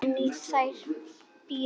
En í þér býr allt.